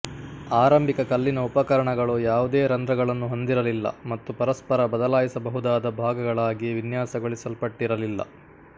ಆರಂಭಿಕ ಕಲ್ಲಿನ ಉಪಕರಣಗಳು ಯಾವುದೇ ರಂಧ್ರಗಳನ್ನು ಹೊಂದಿರಲಿಲ್ಲ ಮತ್ತು ಪರಸ್ಪರ ಬದಲಾಯಿಸಬಹುದಾದ ಭಾಗಗಳಾಗಿ ವಿನ್ಯಾಸಗೊಳಿಸಲ್ಪಟ್ಟಿರಲಿಲ್ಲ